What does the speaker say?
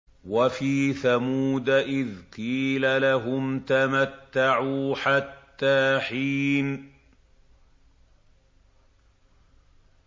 وَفِي ثَمُودَ إِذْ قِيلَ لَهُمْ تَمَتَّعُوا حَتَّىٰ حِينٍ